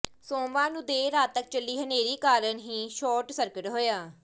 ਸੋਮਵਾਰ ਨੂੰ ਦੇਰ ਰਾਤ ਤੱਕ ਚੱਲੀ ਹਨੇਰੀ ਕਾਰਨ ਹੀ ਸ਼ਾਰਟ ਸਰਕਟ ਹੋਇਆ